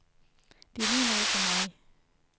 Det er lige noget for mig.